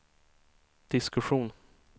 diskussion